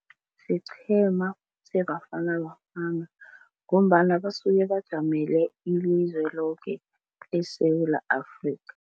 Siqhema seBafana Bafana ngombana basuke bajamele ilizwe loke eSewula Afrika.